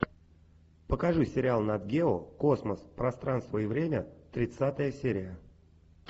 покажи сериал нат гео космос пространство и время тридцатая серия